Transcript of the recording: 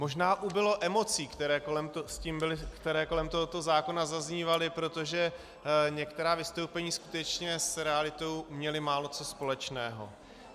Možná ubylo emocí, které kolem tohoto zákona zaznívaly, protože některá vystoupení skutečně s realitou měla málo co společného.